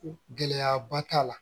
Gɛlɛyaba t'a la